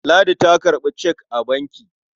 Ladi ta karɓi cek a banki.